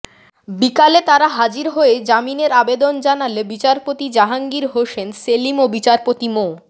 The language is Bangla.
বিকালে তারা হাজির হয়ে জামিনের আবেদন জানালে বিচারপতি জাহাঙ্গীর হোসেন সেলিম ও বিচারপতি মো